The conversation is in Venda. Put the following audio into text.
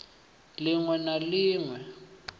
lin we na lin we